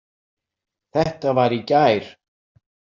Þetta var í gær.